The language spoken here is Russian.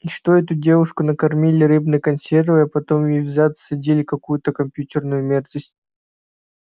и что эту девушку накормили рыбной консервой а потом ей в зад всадили какую-то компьютерную мерзость